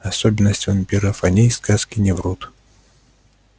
особенность вампиров о ней сказки не врут